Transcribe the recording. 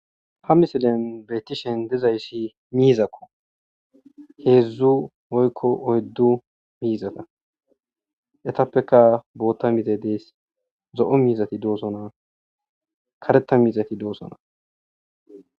ha misilen beettishen dizayssi miizakko heedzdzu woykko oyddu miizata etappeka bootta mize deys zo7o miizati doosona kareta miizati doosona.